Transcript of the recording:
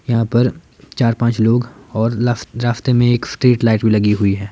यहाँ पर चार पाँच लोग और रास्ते में एक स्ट्रीट लाइट भीं लगी हुई है।